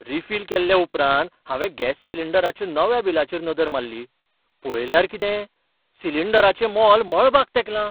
Refill केल्या उपरांत हांवें गॅस सिलिंडराच्या नव्या बिलाचेर नदर मारली. पळयल्यार कितें, सिलिंडराचें मोल मळबाक तेंकलां!